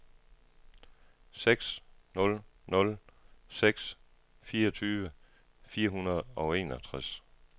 seks nul nul seks fireogtyve fire hundrede og enogtres